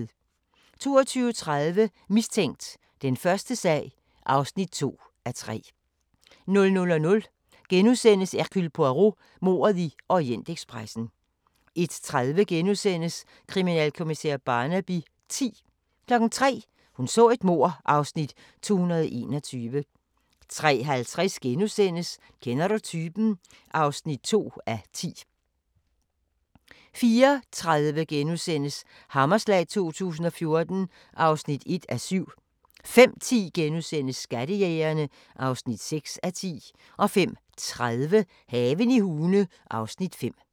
22:30: Mistænkt: Den første sag (2:3) 00:00: Hercule Poirot: Mordet i Orientekspressen * 01:30: Kriminalkommissær Barnaby X * 03:00: Hun så et mord (Afs. 221) 03:50: Kender du typen? (2:10)* 04:30: Hammerslag 2014 (1:7)* 05:10: Skattejægerne (6:10)* 05:30: Haven i Hune (Afs. 5)